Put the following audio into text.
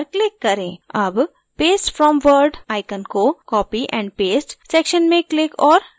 अब paste from word icon को copy and paste section में click और drag करें